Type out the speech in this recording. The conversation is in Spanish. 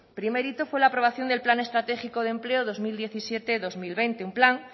primer hito fue la aprobación del plan estratégico del empleo dos mil diecisiete dos mil veinte un plan